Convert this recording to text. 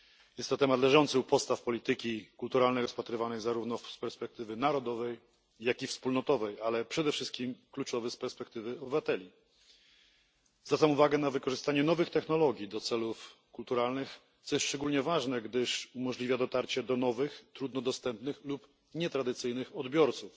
Jest to temat leżący u podstaw polityki kulturalnej, rozpatrywany zarówno z perspektywy narodowej, jak i wspólnotowej, ale przede wszystkim kluczowy z perspektywy obywateli. Zwracam uwagę na wykorzystywanie nowych technologii do celów kulturalnych, co jest szczególnie ważne, gdyż umożliwia dotarcie do nowych, trudno dostępnych lub nietradycyjnych odbiorców.